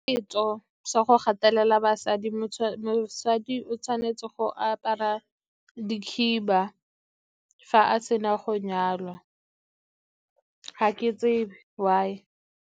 Setso sa go gatelela basadi, mosadi o tshwanetse go apara dikhiba fa a sena go nyalwa, ga ke tsebe why.